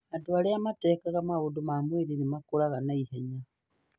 Andũ arĩa matekaga maũndũ ma mwĩrĩ nĩ makũraga na ihenya